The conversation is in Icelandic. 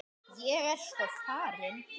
Ég er sko farin.